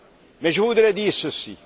Non. Mais je voudrais dire